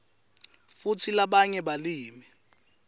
futsi labanye balimi